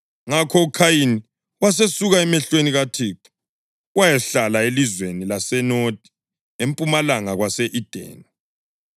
Ngakho uKhayini wasesuka emehlweni kaThixo wayahlala elizweni laseNodi, empumalanga kwase-Edeni.